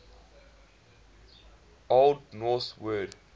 old norse word